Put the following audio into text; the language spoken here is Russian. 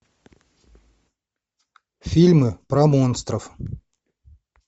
фильмы про монстров